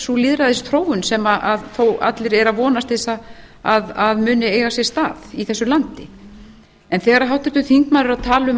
sú lýðræðisþróun sem þó allir eru að vonast til að muni eiga sér stað í þessu landi en þegar háttvirtur þingmaður er að tala um